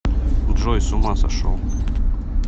джой с ума сошел